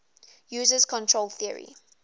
uses control theory